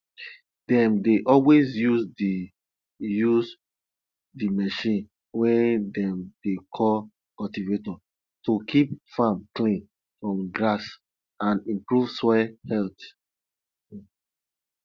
dem dey always use the use the machine wey dem dey call cultivator to keep farm clean from grass and improve soil health um